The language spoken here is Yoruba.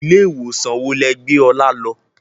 Ilé ìwòsàn wo lẹ gbé Ọlá lọ?